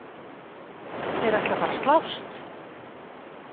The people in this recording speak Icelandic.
Þeir ætla að fara að slást!